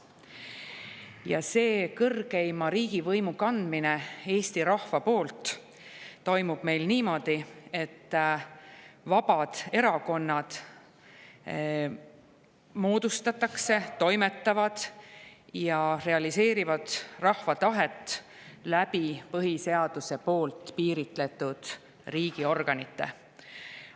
Ja see kõrgeima riigivõimu kandmine Eesti rahva poolt toimub meil niimoodi, et vabad erakonnad moodustatakse, nad toimetavad ja realiseerivad rahva tahet põhiseaduses piiritletud riigiorganite kaudu.